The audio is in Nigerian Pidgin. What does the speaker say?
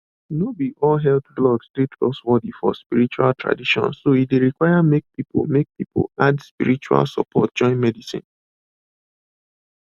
no be all health blogs dey trustworthy for spiritual traditions so e dey require make people make people add spiritual support join medicine